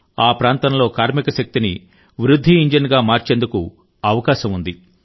ఆ ప్రాంతంలో కార్మిక శక్తిని వృద్ధి ఇంజిన్గా మార్చేందుకు అవకాశం ఉంది